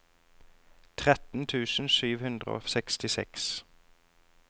tretten tusen sju hundre og sekstiseks